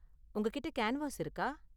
உங்ககிட்ட கேன்வாஸ் இருக்கா?